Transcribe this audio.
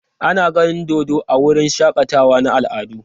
Ana ganin dodo a wurin shakatawa na al'adu.